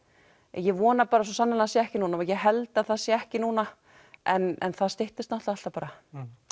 ég vona bara svo sannarlega sé ekki núna ég held að það sé ekki núna en það styttist náttúrulega alltaf bara